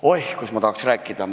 Oih, kus ma tahaks rääkida!